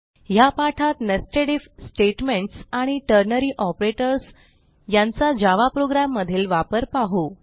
ह्या पाठात nested if statements आणि टर्नरी ऑपरेटर्स यांचा जावा प्रोग्राम मधील वापर पाहू